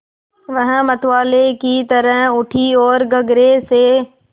वह मतवाले की तरह उठी ओर गगरे से